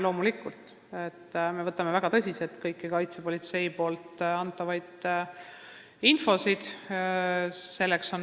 Loomulikult, me võtame väga tõsiselt kogu kaitsepolitsei antavat infot.